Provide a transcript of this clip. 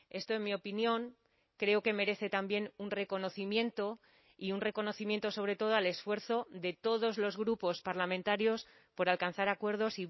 esto en mi opinión creo que merece también un reconocimiento y un reconocimiento sobre todo al esfuerzo de todos los grupos parlamentarios por alcanzar acuerdos